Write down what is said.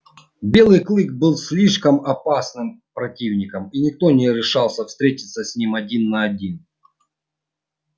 белый клык был слишком опасным противником и никто не решался встретиться с ним один на один